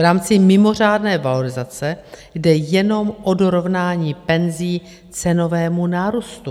V rámci mimořádné valorizace jde jenom o dorovnání penzí cenovému nárůstu.